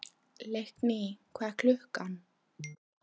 Leikný, hvað er klukkan?